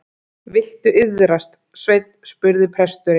Viltu iðrast, Sveinn, spurði presturinn.